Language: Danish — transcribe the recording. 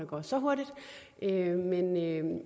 går så hurtigt